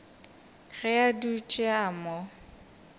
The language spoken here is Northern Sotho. ge a dutše a mo